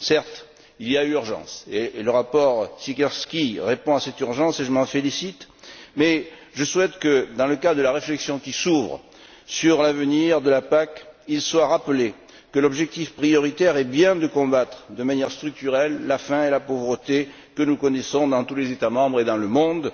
Certes, il y a urgence, et le rapport Siekierski répond à cette urgence, et je m'en félicite, mais je souhaite que, dans le cadre de la réflexion qui s'ouvre sur l'avenir de la PAC, il soit rappelé que l'objectif prioritaire est bien de combattre de manière structurelle la faim et la pauvreté que nous connaissons dans tous les États membres et dans le monde.